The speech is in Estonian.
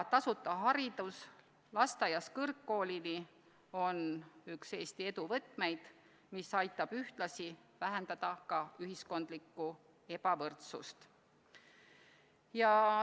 Tasuta haridus lasteaiast kõrgkoolini on üks Eesti edu võtmeid, mis aitab ühtlasi vähendada ühiskondlikku ebavõrdsust.